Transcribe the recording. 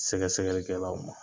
Sɛgɛ sɛgɛli kɛlaw ma.